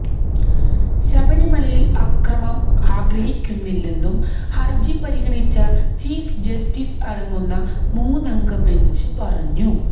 ശബരിമലയില് അക്രമം ആഗ്രഹിക്കുന്നില്ലെന്നും ഹരജി പരിഗണിച്ച ചീഫ് ജസ്റ്റിസ് അടങ്ങുന്ന മൂന്നംഗ ബെഞ്ച് പറഞ്ഞു